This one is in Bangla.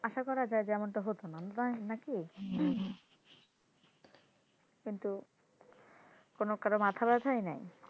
আশা করা যায় যে এরকমটা হতো না নাকি কিন্তু কোনো কারো মাথা ব্যথাই নাই,